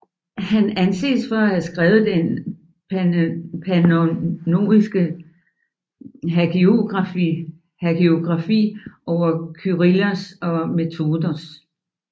Han anses for at have skrevet den pannoniske hagiografi over Kyrillos og Methodios